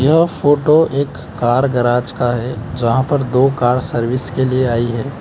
यह फोटो एक car garage का है जहां पर दो कार सर्विस के लिए आई है।